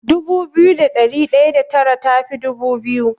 Dubu biyu da ɗari ɗaya da tara tafi dubu biyu.